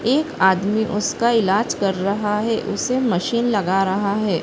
एक आदमी उसका इलाज कर रहा है। उसे मशीन लगा रहा है।